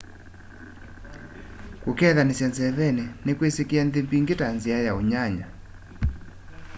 kukethanisya nzeveni ni kwisikie nthi mbingi ta nzia ya unyanya